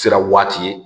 Sira waati ye